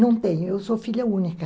Não tenho, eu sou filha única.